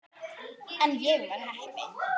En ég var heppin.